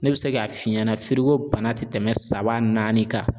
Ne bɛ se k'a f'i ɲɛna bana tɛmɛn saba naani kan